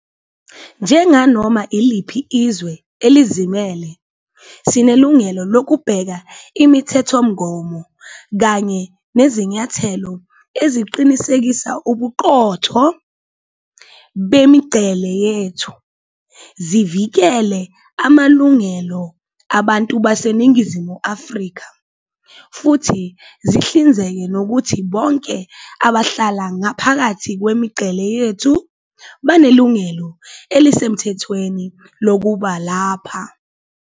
Njenganoma iliphi izwe elizimele, sinelungelo lokubeka imithethomgomo kanye nezinyathelo eziqinisekisa ubuqotho bemingcele yethu, zivikele amalungelo abantu baseNingizimu Afrika futhi zihlinzeke ngokuthi bonke abahlala ngaphakathi kwemingcele yethu banelungelo elisemthethweni lokuba lapha.